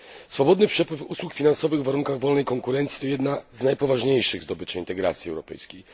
Swobodny przepływ usług finansowych w warunkach wolnej konkurencji to jedna z najpoważniejszych zdobyczy integracji europejskiej.